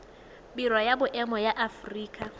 biro ya boemo ya aforika